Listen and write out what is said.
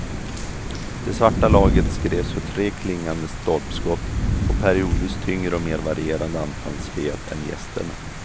Det svarta laget skrevs för tre klingande stolpskott och periodvis tyngre och mer varierande anfallsspel än gästerna.